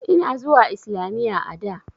Ina zuwa islamiyya a da.